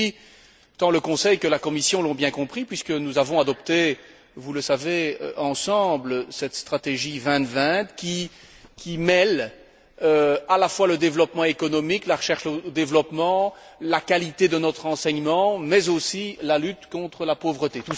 Cela dit, tant le Conseil que la Commission l'ont bien compris puisque nous avons adopté, vous le savez, ensemble, cette stratégie 2020 qui mêle à la fois le développement économique, la recherche au développement, la qualité de notre enseignement mais aussi la lutte contre la pauvreté.